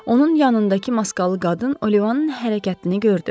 Onun yanındakı maskalı qadın Olivanın hərəkətini gördü.